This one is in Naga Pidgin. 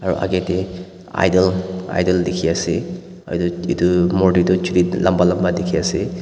aru aage teh idol idol dikhi ase aru etu etu morte tu ched lamba lamba dikhi ase.